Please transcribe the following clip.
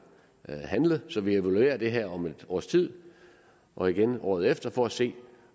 handlet så vi evaluerer det her om et års tid og igen året efter for at se